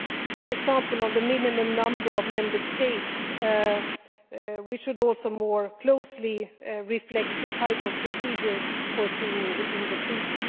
For example, on the minimum number of Member States, we should also more closely reflect the type of procedure foreseen in the Treaty.